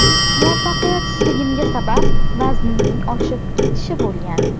Muvaffaqiyatsizligimga sabab vaznimning oshib ketishi bo‘lgan.